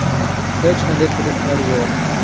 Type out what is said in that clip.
Hech qanday turistlar yo‘q.